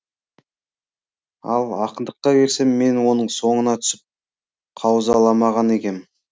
ал ақындыққа келсем мен оның соңына түсіп қаузаламаған екем